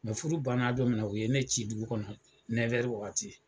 banna dɔ min na u ye ne ci dugu kɔnɔ wagati